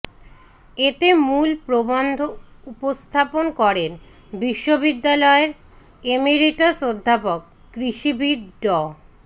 এতে মূল প্রবন্ধ উপস্থাপন করেন বিশ্ববিদ্যালয়ের এমিরিটাস অধ্যাপক কৃষিবিদ ড